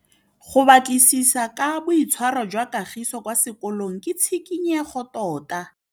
Go batlisisa ka boitshwaro jwa Kagiso kwa sekolong ke tshikinyêgô tota.